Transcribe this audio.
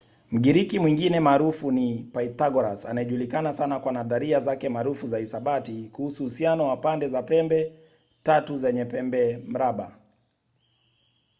mgiriki mwingine maarufu ni pythagoras anayejulikana sana kwa nadharia zake maarufu za hisabati kuhusu uhusiano wa pande za pembe tatu zenye pembemraba